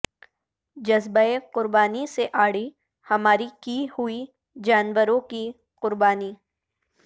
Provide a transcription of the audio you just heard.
جذبہ قربانی سے عاری ہماری کی ہوئی جانوروں کی قربانی